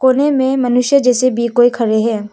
कोने में मनुष्य जैसे भी कोई खड़े हैं।